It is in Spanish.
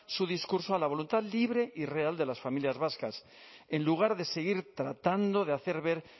su discurso a la voluntad libre y real de las familias vascas en lugar de seguir tratando de hacer ver